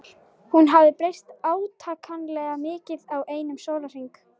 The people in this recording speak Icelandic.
Hún hafði breyst átakanlega mikið á einum sólarhring.